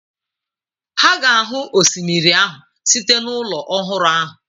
Ha ga-ahụ osimiri ahụ site n'ụlọ ọhụrụ ahụ.